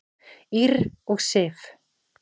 Ýrr og Sif.